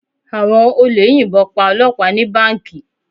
Àwọn olè yìnbọn pa Ọlọpa ni Báǹkì.